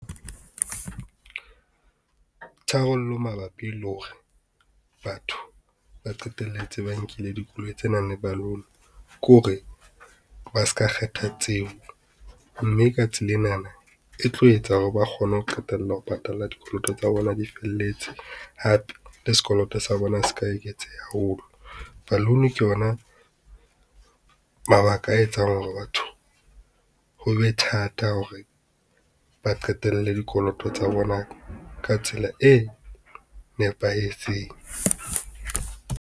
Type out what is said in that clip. Tharollo mabapi le hore batho ba qetelletse ba nkile dikoloi tse nang le balloon ke hore ba ska kgetha tseo mme ka tsela enana e tlo etsa hore ba kgone ho qetella ho patala dikoloto tsa bona di felletse hape le sekoloto sa bona seka eketseha haholo. Balloon ke yona, mabaka a etsang hore batho ho be thata hore ba qetelle dikoloto tsa bona ka tsela e nepahetseng.